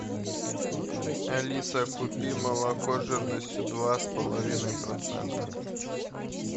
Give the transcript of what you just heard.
алиса купи молоко жирностью два с половиной процента